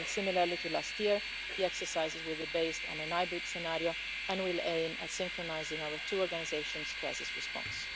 And similarly to last year, the exercises will be based on a hybrid scenario and will aim at synchronising our two organisations' crisis response.